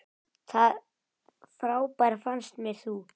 Það frábær fannst mér þú.